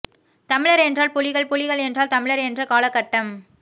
தமிழர் என்றால் புலிகள் புலிகள் என்றால் தமிழர் என்ற காலகட்டம்